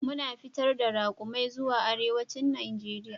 Muna fitar da raƙumai zuwa arewacin Najeriya.